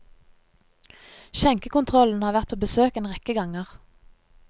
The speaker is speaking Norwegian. Skjenkekontrollen har vært på besøk en rekke ganger.